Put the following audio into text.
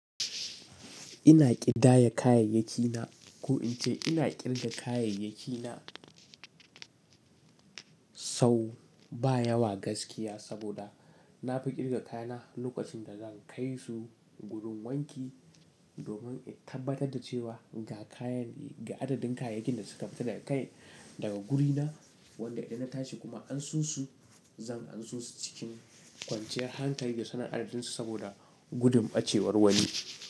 Ina ƙidaya kayayyaki na ko in ce ina ƙirga kayayyaki na sau ba yawa gaskiya saboda na fi ƙirga kayana lokacin da zan kai su gurun wanki domin in tabbatar da cewa ga kayan, ga adadin kayayyakin da suka fita da kai daga guri na wanda idan na tashi kuma an so su, zan anso su cikin kwanciyar hankali da sanin adadin su saboda gudun ɓacewar wani.